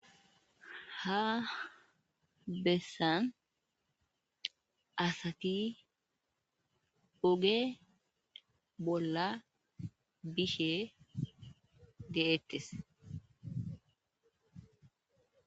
Ha bessan asati oge bolla bishe de'eettes.